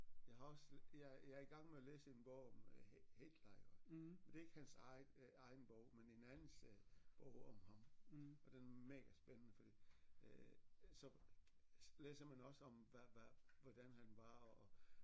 Jeg har også jeg jeg er i gang med at læse en bog om Hitler iggå men det er ikke hans egen egen bog men en andens øh bog om ham og den er mega spændende fordi øh så læser man også om hvad hvad hvordan han var og